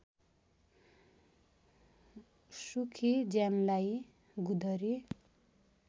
सुखी ज्यानलाई गुँदरी